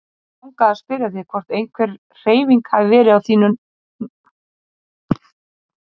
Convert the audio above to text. Mig langaði að spyrja þig hvort einhver hreyfing hafi verið á því núna síðustu daga.